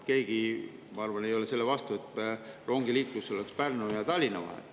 Keegi, ma arvan, ei ole selle vastu, et Pärnu ja Tallinna vahel oleks rongiliiklus.